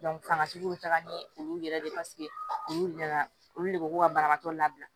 fangatigiw be taga ni olu yɛrɛ de paseke olu nana olu de ko ko ka banabaatɔ labila